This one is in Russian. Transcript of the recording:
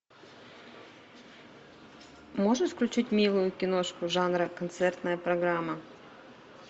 можешь включить милую киношку жанра концертная программа